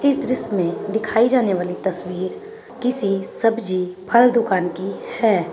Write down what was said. इस दृश्य मे दिखाई जाने वाली तस्वीर किसी सब्जी फल दुकान की है।